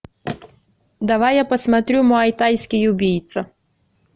давай я посмотрю мой тайский убийца